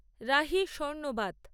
Rahi স্বর্নবাত